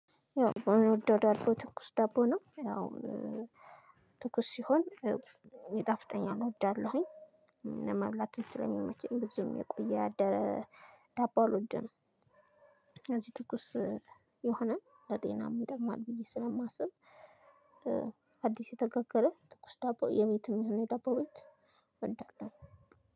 ያው የምወደው ዳቦ ትኩስ ዳቦ ነው። ያው- ትኩስ ሲሆን ይጣፍጠኛል እወዳለሁኝ። ለመብላት ስለሚመችኝ ብዙም የቆየ ያደረ ዳቦ አልወደም። ስለዚህ ትኩስ- የሆነ ለጤና ይጠቅማል ብዬ ስለማስብ- አዲስ የተጋገረ ትኩስ ዳቦ የቤትም የሆነ ዳቦ ቤት እወዳለሁኝ።